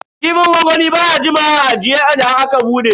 Kifin gwangwami baya jimawa a ajiye idan aka bude.